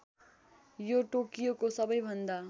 यो टोकियोको सबैभन्दा